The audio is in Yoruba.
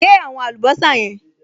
Gé àwọn àlùbọ́sà yẹn